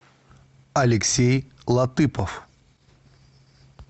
алексей латыпов